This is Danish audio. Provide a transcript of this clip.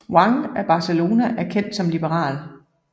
Juan af Barcelona var kendt som liberal